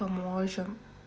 поможем